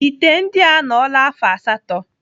Ite ndị a anọla afọ asatọ.